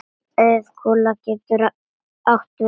Auðkúla getur átt við